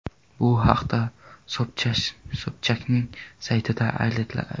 Bu haqda Sobchakning saytida aytiladi .